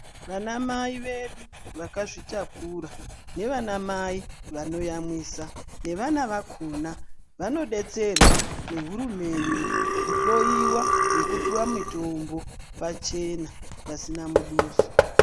Vana mai vedu vakazvitakura, nevana mai vanoyamwisa, nevana vakona vanodetserwa nehurumende, kuhloyiwa nekupuwa mitombo pachena pasina muduso.